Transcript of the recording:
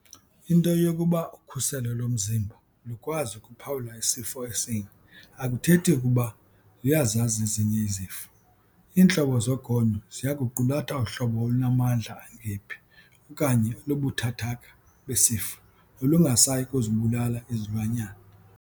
Into yokuba ukhuselo lomzimba lukwazi ukuphawula isifo esinye akuthethi ukuba luyazazi ezinye izifo. Iintlobo zogonyo ziya kuqulatha uhlobo olunamandla angephi okanye olubuthathaka besifo nolungasayi kuzibulala izilwanyana.